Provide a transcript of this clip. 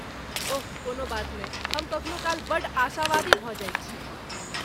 ओह, कोनो बात नहि! हम कखनो काल बड्ड आशावादी भऽ जाइत छी।